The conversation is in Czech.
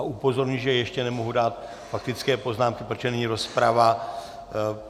A upozorňuji, že ještě nemohu dát faktické poznámky, protože není rozprava.